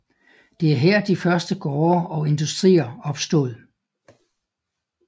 Det er her de første gårde og industrier opstod